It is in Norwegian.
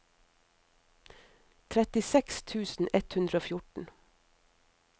trettiseks tusen ett hundre og fjorten